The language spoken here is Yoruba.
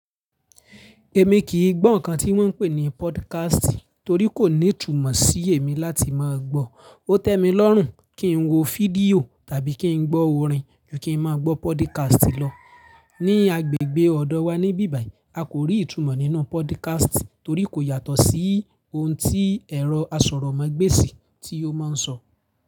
Èmi kì í gbọ́ nǹkan tí wọ́n ń pè ní podcast torí kò ní ìtumọ̀ sí èmi láti máa gbọ́. Ó tẹ́ mi lọ́rùn kín wo fídíò tàbí kín gbọ́ orin ju kín máa gbọ́ podcast lọ. Ni agbègbè ọ̀dọ̀ wa ní bíbàì a kò rí ìtumọ̀ nínú podcast torí kò yàtọ̀ sí oun tí ẹ̀rọ asọ̀rọ̀ ma gbéesì tí ó máa ń sọ.